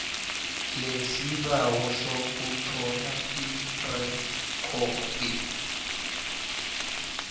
lesibawo sokuthola irekhodi